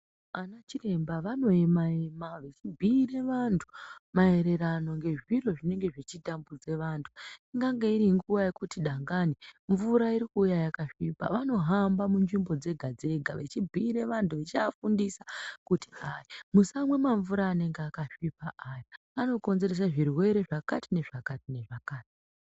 Anachiremba vanoema-ema vechibhuire vantu maererano ngezviro zvinenge zvechitambudza vantu. Ingange iringuva yekuti dangani mvura irikuuya yakasvipa. Vanohamba munzvimbo dzega-dzega vechibhuire vantu vechiafundisa kuti hayi, musamwe mamvura anenge akasvipa aya, anokonzerese zvirwere zvakati nezvakati nezvakati.